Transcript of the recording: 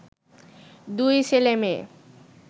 দুই ছেলে মেয়ে